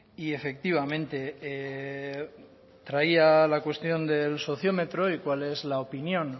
y efectivamente traía la cuestión del sociómetro y cuál es la opinión